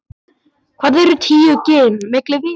Hvað eru tíu gin milli vina.